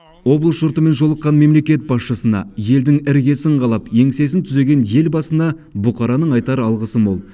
облыс жұртымен жолыққан мемлекет басшысына елдің іргесін қалап еңсесін түзеген елбасына бұқараның айтар алғысы мол